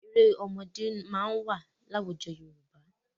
Eré ọmọdé máa wà láwùjọ Yorùbá.